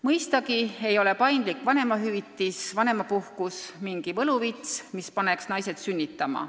Mõistagi ei ole paindlikud vanemahüvitise ja vanemapuhkuse võimalused mingi võluvits, mis paneb naised sünnitama.